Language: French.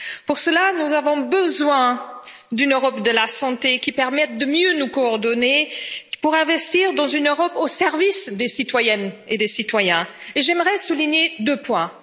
Pour cela, nous avons besoin d'une Europe de la santé qui permette de mieux nous coordonner pour investir dans une Europe au service des citoyennes et des citoyens. Et j'aimerais souligner deux points.